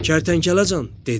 Kərtənkələ can, dedi.